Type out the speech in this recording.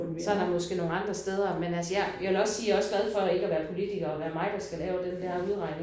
Så er der måske nogle andre steder men altså jeg jeg vil også sige jeg er også glad for ikke at være politiker og være mig der skal lave den der udregning